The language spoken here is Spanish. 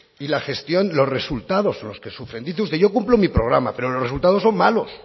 y la gestión los resultados son los que sufren dice usted yo cumplo mi programa pero los resultados son malos